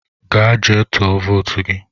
Gaa jee tụọ votu gị!